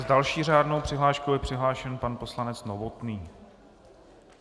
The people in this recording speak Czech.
S další řádnou přihláškou je přihlášen pan poslanec Novotný.